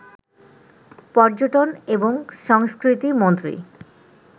পর্যটন এবং সংস্কৃতি মন্ত্রী